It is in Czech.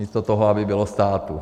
Místo toho, aby bylo státu.